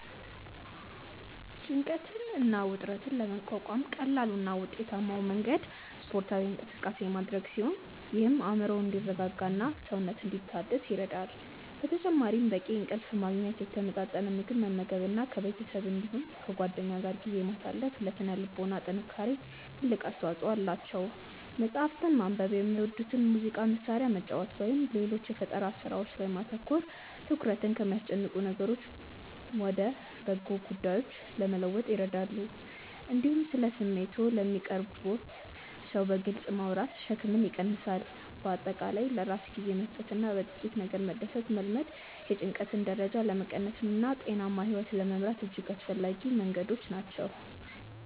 ጭንቀትን እና ውጥረትን ለመቋቋም ቀላሉ እና ውጤታማው መንገድ ስፖርታዊ እንቅስቃሴ ማድረግ ሲሆን ይህም አእምሮ እንዲረጋጋና ሰውነት እንዲታደስ ይረዳል። በተጨማሪም በቂ እንቅልፍ ማግኘት፣ የተመጣጠነ ምግብ መመገብ እና ከቤተሰብ እንዲሁም ከጓደኞች ጋር ጊዜ ማሳለፍ ለሥነ ልቦና ጥንካሬ ትልቅ አስተዋጽኦ አላቸው። መጽሐፍትን ማንበብ፣ የሚወዱትን የሙዚቃ መሣሪያ መጫወት ወይም ሌሎች የፈጠራ ሥራዎች ላይ ማተኮር ትኩረትን ከሚያስጨንቁ ነገሮች ወደ በጎ ጉዳዮች ለመለወጥ ይረዳሉ። እንዲሁም ስለ ስሜቶችዎ ለሚቀርቡዎት ሰው በግልጽ ማውራት ሸክምን ይቀንሳል። በአጠቃላይ ለራስ ጊዜ መስጠትና በጥቂት ነገሮች መደሰትን መልመድ የጭንቀት ደረጃን ለመቀነስና ጤናማ ሕይወት ለመምራት እጅግ አስፈላጊ መንገዶች ናቸው።